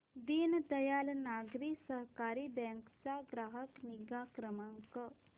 Deendayal Nagari Sahakari bank चा ग्राहक निगा क्रमांक